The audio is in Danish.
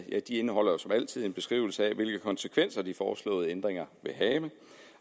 indeholder jo som altid en beskrivelse af hvilke konsekvenser de foreslåede ændringer vil have